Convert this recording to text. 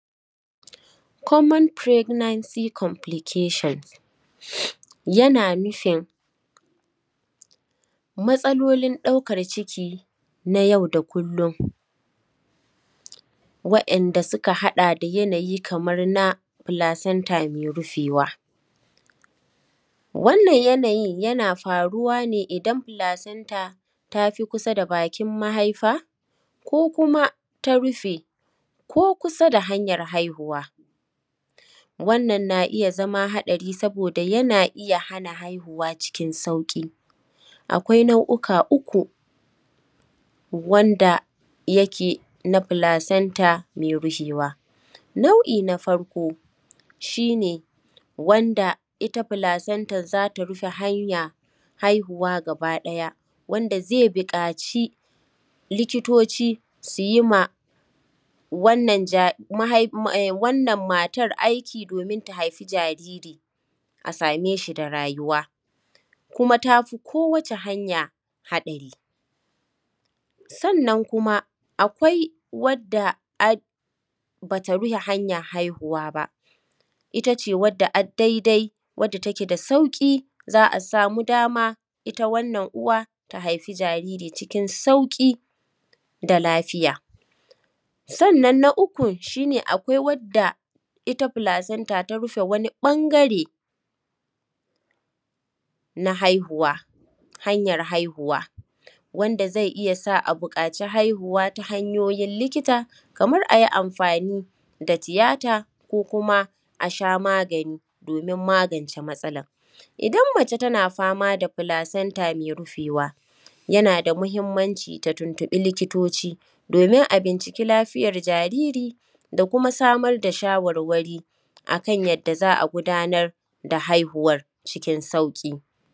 Common pregnancy complication yana nufin matsalolin ɗaukar ciki na yau da kullum, waɗanda suka haɗa da yanayi kamar na placenta mai rufewa. Wannan yanayin yana faruwa ne idan placenta ta fi kusa da bakin mahaifa ko kuma ta rufi ko kusa da hanyar haihuwa. Wannan na iya zama haɗari saboda yana iya hana haihuwa cikin sauƙi. Akwai nau’uka uku, wanda yake na placenta mai rufewa: nau’i na farko, shi ne wanda ita placenta za ta rufe hanyar haihuwa gaba ɗaya, wanda zai buƙaci likitoci su yi ma wannan matar aiki domin ta haifi jariri, a same shi da rayuwa, kuma ta fi kowace hanya haɗari. Sannan kuma akwai wadda ba ta rufe hanyar haihuwa ba, ita ce wadda ad daidai, wadda take da sauƙi, za a samu dama, ita wannan uwa ta haifi jariri cikin sauƙi da lafiya. Sannan na ukun shi ne, akwai wadda ita placenta ta rufe wani ɓangare na haihuwa, hanyar haihuwa, wanda zai iya sa a buƙaci haihuwa ta hanyoyin likita kamar a yi amfani da tiyata ko kuma a sha magani domin magance matsalar. Idan mace tana fama da placenta mai rufewa, yana da muhimmanci ta tuntuɓi likitoci domin a binciki lafiyar jariri da kuma samar da shawarwari a kan yadda za a gudanar da haihuwar cikin sauƙi.